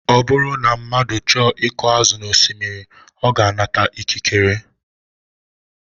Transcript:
Ọ bụrụ na mmadụ chọọ iku azụ n'osimiri, ọ na-anata ikikere